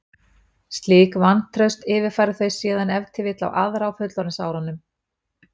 Slíkt vantraust yfirfæra þau síðan ef til vill á aðra á fullorðinsárunum.